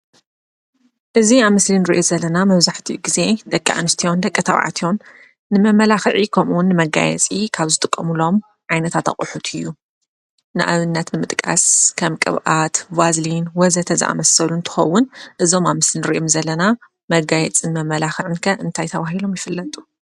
እዚ ኣብ ምስሊ ንሪኦ ዘለና መብዛሕትኡ ጊዜ ደቂ ኣንስትዮን ደቂ ተባዕትዮን ንመመላኽዒ ከምኡ ውን ንመጋየፂ ካብ ዝጥቀምሎም ዓይነታት ኣቕሑት እዩ፡፡ ንኣብነት ንምጥቃስ ከም ቅብኣት፣ ቫዝሊን ወ.ዘ.ተ ዝኣመሰሉ እንትኸውን እዞም ኣብ ምስሊ ንሪኦም ዘለና መጋየፅን መመላኽዕን ከ እንታይ ተባሂሎም ይፍለጡ?